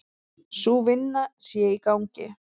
Sú vinna sé í gangi.